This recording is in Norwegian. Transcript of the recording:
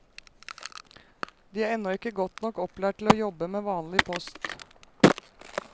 De er ennå ikke godt nok opplært til å jobbe med vanlig post.